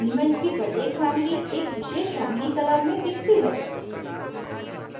elements की प्रत्येक family एक विशेष family color में दिखती है